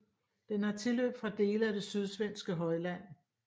Den har tilløb fra dele af det sydsvenske højland